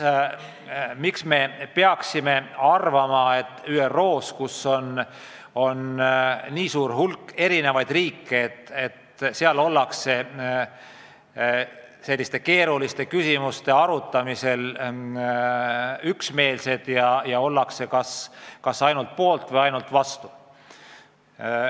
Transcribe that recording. Miks me siis peaksime arvama, et ÜRO-s, kus on nii suur hulk erinevaid riike, ollakse keeruliste küsimuste arutamisel üksmeelsed ja ollakse kas ainult poolt või ainult vastu.